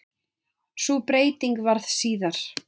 Sú breyting varð síðar.